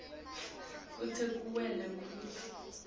kute kuvele kutsi